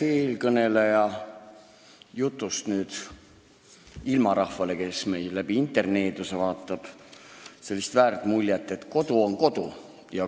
Eelkõneleja jutust ei tohiks ilmarahvale, kes meid interneeduse toel vaatab, jääda sellist väärat muljet, et kodu on alati kodu.